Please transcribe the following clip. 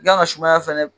I kan ka sumaya fɛnɛ